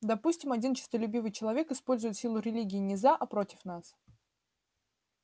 допустим один честолюбивый человек использует силу религии не за а против нас